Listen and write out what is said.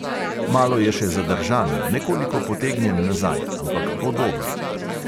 Malo je še zadržan, nekoliko potegnjen nazaj, ampak bo dober.